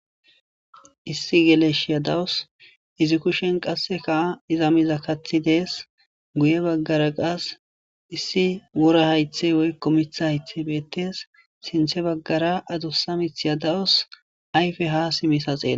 Issi geleshiya dawusu Izi kushen qasekka iza miza kathi desese guye bagara qase issi wora haythey woyko mitha haythey betese sintha bagara adusa mithati dawusu ayfe ha dimisa xelawus